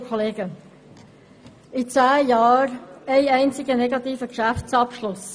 In den letzten zehn Jahren gab es ein einziges Mal einen negativen Geschäftsabschluss.